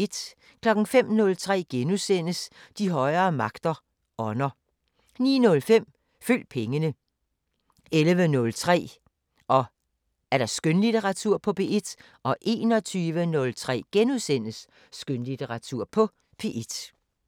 05:03: De højere magter: Ånder * 09:05: Følg pengene 11:03: Skønlitteratur på P1 21:03: Skønlitteratur på P1 *